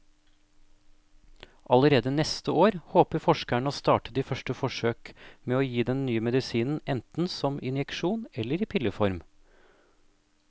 Allerede neste år håper forskerne å starte de første forsøk med å gi den nye medisinen enten som injeksjon eller i pilleform.